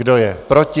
Kdo je proti?